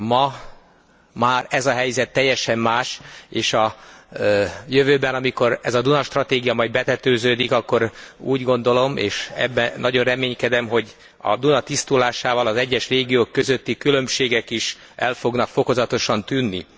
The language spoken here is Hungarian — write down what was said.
Ma már ez a helyzet teljesen más, és a jövőben, amikor ez a Duna stratégia majd betetőződik, akkor úgy gondolom, és ebben nagyon reménykedem, hogy a Duna tisztulásával az egyes régiók közötti különbségek is el fognak fokozatosan tűnni.